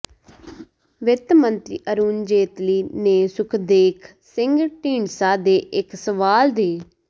ਵਿੱਤ ਮੰਤਰੀ ਅਰੁਣ ਜੇਤਲੀ ਨੇ ਸੁਖਦੇਖ ਸਿੰਘ ਢੀਂਡਸਾ ਦੇ ਇਕ ਸਵਾਲ ਦੇ